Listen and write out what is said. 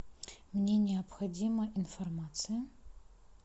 мне необходима информация